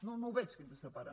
no no ho veig què ens separa